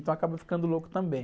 Então eu acaba ficando louco também.